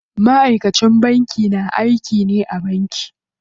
Ma'aikacin banki na aiki ne a banki.